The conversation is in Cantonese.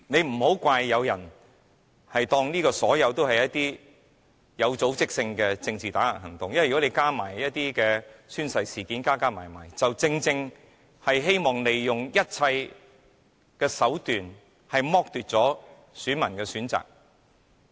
不要怪責有些人把所有事都視作有組織的政治打壓行動，因為此事再加上宣誓事件，全部做法均是希望利用一切手段來剝奪選民的選擇。